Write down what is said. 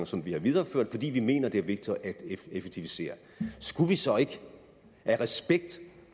som vi har videreført fordi vi mener det er vigtigt at effektivisere skulle vi så ikke af respekt